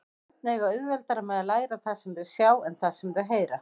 Börn eiga auðveldara með að læra það sem þau sjá en það sem þau heyra.